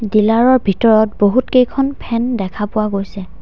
Dealer ৰ ভিতৰত বহুতকেইখন ফেন দেখা পোৱা গৈছে।